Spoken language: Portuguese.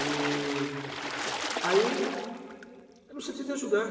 E aí, eu não senti de ajudar.